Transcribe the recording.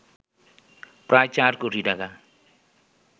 প্রায় ৪ কোটি টাকা